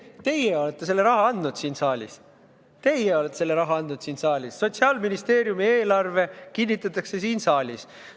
Teie siin saalis olete selle raha andnud, Sotsiaalministeeriumi eelarve kinnitatakse siin saalis.